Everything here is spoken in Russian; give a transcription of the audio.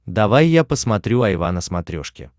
давай я посмотрю айва на смотрешке